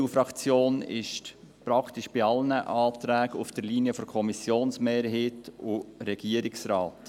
Die EDU-Fraktion ist praktisch bei allen Anträgen auf der Linie von Kommissionsmehrheit und Regierungsrat.